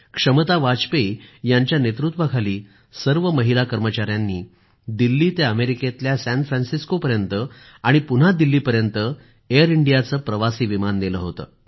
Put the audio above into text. क्षमता वाजपेयी यांच्या नेतृत्वाखाली सर्व महिला कर्मचाऱ्यांनी दिल्ली ते अमेरिकेतल्या सॅन फ्रॅन्सिसकोपर्यंत आणि पुन्हा दिल्लीपर्यंत एअर इंडियाचे प्रवासी विमान नेले होते